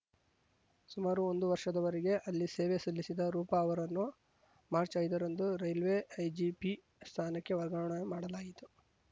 ಸುಮಾರು ಒಂದು ವರ್ಷದವರೆಗೆ ಅಲ್ಲಿ ಸೇವೆ ಸಲ್ಲಿಸಿದ ರೂಪಾ ಅವರನ್ನು ಮಾರ್ಚ್ ಐದರಂದು ರೈಲ್ವೆ ಐಜಿಪಿ ಸ್ಥಾನಕ್ಕೆ ವರ್ಗಾವಣೆ ಮಾಡಲಾಯಿತು